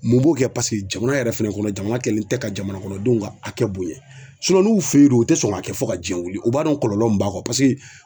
Mun b'o kɛ paseke jamana yɛrɛ fɛnɛ kɔnɔ jamana kɛlen tɛ ka jamana kɔnɔdenw ka hakɛ bonya. n'u fe ye don u tɛ sɔn k'a kɛ fo ka jiyɛ wuli u b'a dɔn kɔlɔlɔ min b'a kɔ paseke